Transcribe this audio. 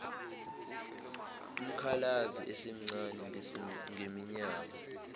umkhalazi esemncane ngeminyaka